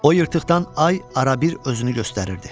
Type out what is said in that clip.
O yırtıqdan ay arabir özünü göstərirdi.